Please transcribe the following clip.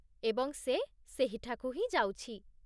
ଏବଂ ସେ ସେହିଠାକୁ ହିଁ ଯାଉଛି।